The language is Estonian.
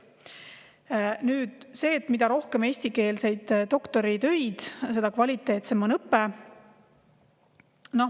Nüüd see, et mida rohkem eestikeelseid doktoritöid, seda kvaliteetsem on õpe.